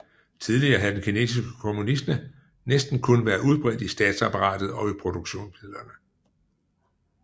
Tidligere havde den kinesiske kommunisme næsten kun været udbredt i statsapparatet og produktionsmidlerne